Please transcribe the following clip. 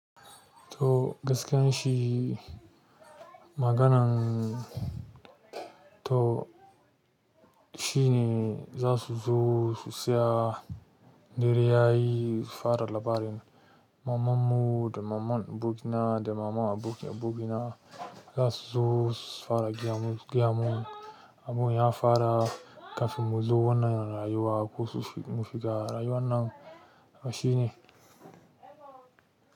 To gaskiyan shi, maganan-- to shi ne za su zo su tsaya dare yayi, su fara labarin mamanmu da maman abokina da maman abokin abokina za su zo su fara gaya mun su gayamun. Abun ya fara kafin mu zo wannan rayuwa ko mu shiga rayuwan nan. Haba shi ne.